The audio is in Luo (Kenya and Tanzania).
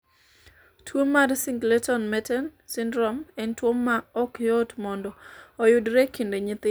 tuo mar Singleton Merten syndrome en tuo ma ok yot mondo oyudre e kind nyithindo